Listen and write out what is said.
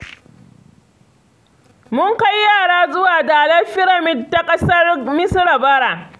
Mun kai yara zuwa dalar firamid ta ƙasar Misira bara